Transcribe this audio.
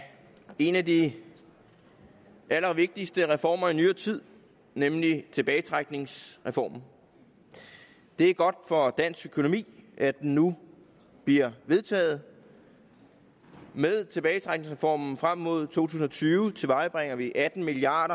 en af de allervigtigste reformer i nyere tid nemlig tilbagetrækningsreformen det er godt for dansk økonomi at den nu bliver vedtaget med tilbagetrækningsreformen frem mod to tusind og tyve tilvejebringer vi atten milliard